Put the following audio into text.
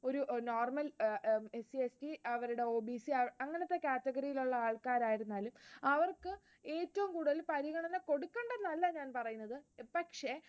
ഒരു normal SC, ST അവരുടെ OBC അങ്ങനത്തെ category യിലുള്ള ആൾക്കാർ ആയിരുന്നാലും, അവർക്ക് ഏറ്റവും കൂടുതൽ പരിഗണന കൊടുക്കേണ്ടന്നല്ല ഞാൻ പറയുന്നത്, പക്ഷേ,